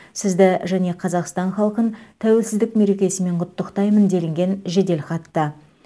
сізді және қазақстан халқын тәуелсіздік мерекесімен құттықтаймын делінген жеделхатта